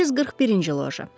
341-ci loja.